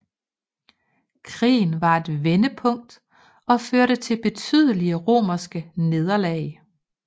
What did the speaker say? Krigen var et vendepunkt og førte til betydelige romerske nederlag